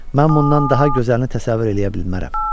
Mən bundan daha gözəlini təsəvvür eləyə bilmərəm.